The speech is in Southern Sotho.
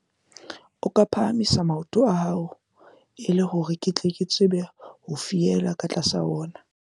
ako phahamise maoto a hao e le hore ke tle ke tsebe ho fiela ka tlasa ona